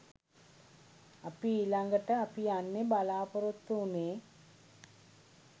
අපි ඊළඟට අපි යන්න බලාපොරොත්තු වුනේ